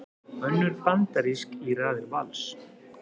Önnur bandarísk í raðir Vals